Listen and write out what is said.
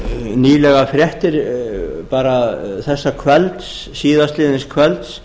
nýlegar fréttir bara þessa kvölds síðastliðinn kvölds